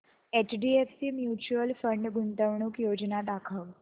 HDFC mutual fund गुंतवणूक योजना दाखव